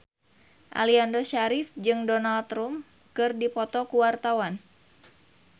Aliando Syarif jeung Donald Trump keur dipoto ku wartawan